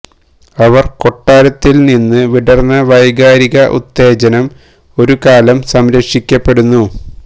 അവർ കൊട്ടാരത്തിൽ നിന്ന് വിടർന്ന വൈകാരിക ഉത്തേജനം ഒരു കാലം സംരക്ഷിക്കപ്പെടുന്നു